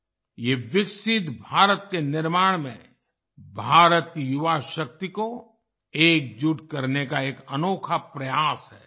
ये विकसित भारत के निर्माण में भारत की युवा शक्ति को एकजुट करने का एक अनोखा प्रयास है